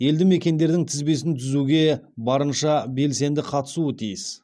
елді мекендердің тізбесін түзуге барынша белсенді қатысуы тиіс